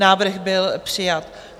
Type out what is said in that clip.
Návrh byl přijat.